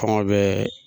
Kɔngɔ bɛ